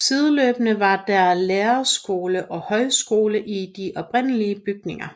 Sideløbende var der lærerskole og højskole i de oprindelige bygninger